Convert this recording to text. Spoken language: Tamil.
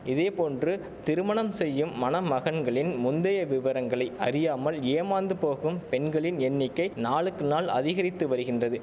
இதேபோன்று திருமணம் செய்யும் மணமகன்களின் முந்தைய விவரங்களை அறியாமல் ஏமாந்து போகும் பெண்களின் எண்ணிக்கை நாளுக்கு நாள் அதிகரித்து வரிகின்றது